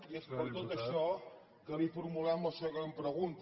i és per tot això que li formulem la següent pregunta